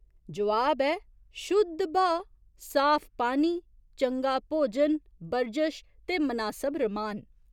जोआब ऐ शुद्ध ब्हाऽ, साफ पानी, चंगा भोजन, बरजश ते मनासब रमान।